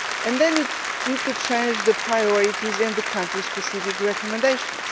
Then you need to change the priorities in the country-specific recommendations.